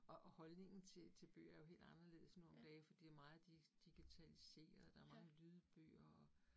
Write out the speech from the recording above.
Og og holdnignen til til bøger er jo helt anderledes nu om dage, fordi meget digitaliseret, der mange lydbøger og